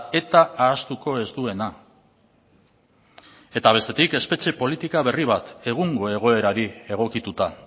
eta ahaztuko ez duena eta bestetik espetxe politika berri bat egungo egoerari egokituta